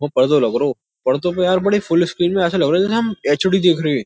वा पर्दो लग रओ। पर्दो पर यार बड़ी फुल स्क्रीन में ऐसे लग रहो जेसे हम एच_डी देख रहे हैं।